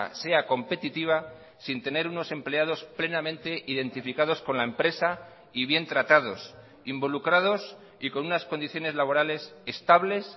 sea competitiva sin tener unos empleados plenamente identificados con la empresa y bien tratados involucrados y con unas condiciones laborales estables